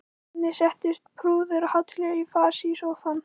Krakkarnir settust prúðir og hátíðlegir í fasi í sófann.